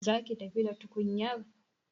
Za ki tafi da tukunyar?